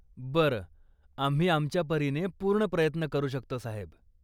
बरं, आम्ही आमच्या परीने पूर्ण प्रयत्न करू शकतो, साहेब.